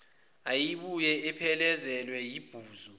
eyayibuye iphelezelwe yibhuzu